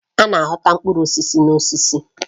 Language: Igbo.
A na-aghọrọ ọtụtụ mkpụrụ osisi n'osisi.